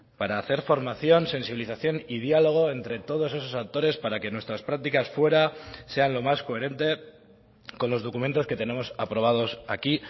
para hacer formación sensibilización y diálogo entre todos esos actores para que nuestras prácticas fuera sean lo más coherente con los documentos que tenemos aprobados aquí